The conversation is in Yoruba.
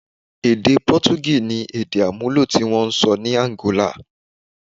Èdè Potogí ni èdè àmúlò tí wọ́n ń sọ ní Àǹgólà.